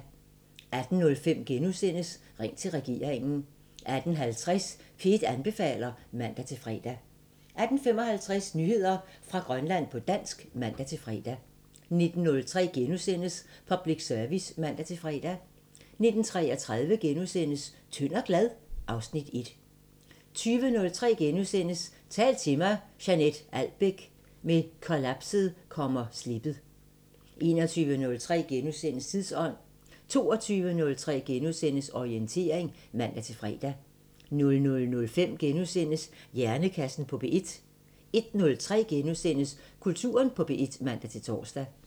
18:05: Ring til regeringen * 18:50: P1 anbefaler (man-fre) 18:55: Nyheder fra Grønland på dansk (man-fre) 19:03: Public Service *(man-fre) 19:33: Tynd og glad? (Afs. 1)* 20:03: Tal til mig – Jeanett Albeck: Med kollapset kommer slippet * 21:03: Tidsånd * 22:03: Orientering *(man-fre) 00:05: Hjernekassen på P1 * 01:03: Kulturen på P1 *(man-tor)